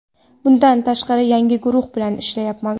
Bundan tashqari, yangi guruh bilan ishlayapman.